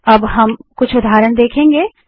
अब हम चौन के कुछ उदाहरण देखेंगे